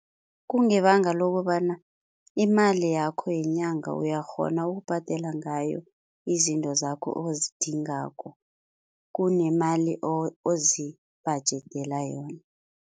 Kungebanga lokobana imali yakho yenyanga uyakghona ukubhadela ngayo izinto zakho ozidingako kunemali ozibhajedela yona.